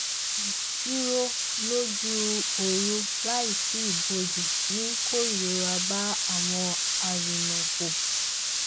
dúró lójú ooru láìsí ibòji ń kó ìrora bá àwọn arìnàkò